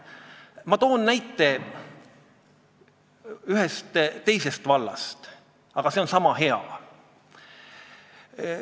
Ma toon näite ühest teisest vallast, aga see on niisama hea.